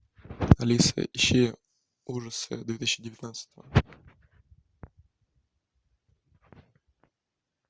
алиса ищи ужасы две тысячи девятнадцатого